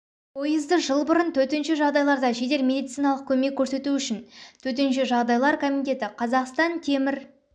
пойызды жыл бұрын төтенше жағдайларда жедел медициналық көмек көрсету үшін төтенше жағдайлар комитеті қазақстан темір